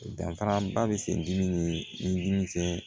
Danfaraba bɛ se dimi ni dimi cɛ